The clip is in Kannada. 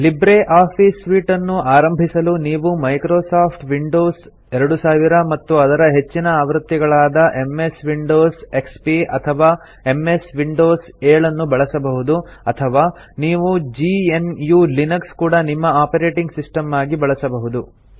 ಲಿಬ್ರೆ ಆಫೀಸ್ ಸೂಟ್ ಅನ್ನು ಆರಂಭಿಸಲು ನೀವು ಮೈಕ್ರೊಸಾಫ್ಟ್ ವಿಂಡೋಸ್ 2000 ಮತ್ತು ಅದರ ಹೆಚ್ಚಿನ ಆವೃತ್ತಿಗಳಾದ ಎಂಎಸ್ ವಿಂಡೋಸ್ ಎಕ್ಸ್ಪಿ ಅಥವಾ ಎಂಎಸ್ ವಿಂಡೋಸ್ 7 ನ್ನು ಬಳಸಬಹುದು ಅಥವಾ ನೀವು gnuಲಿನಕ್ಸ್ ಕೂಡಾ ನಿಮ್ಮ ಆಪರೇಟಿಂಗ್ ಸಿಸ್ಟಮ್ ಆಗಿ ಬಳಸಬಹುದು